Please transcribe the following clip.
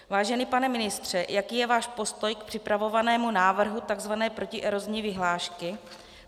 Vážený pane ministře, jaký je váš postoj k připravovanému návrhu tzv. protierozní vyhlášky?